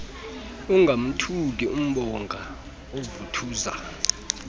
ingamthuki imbonga oovuthuza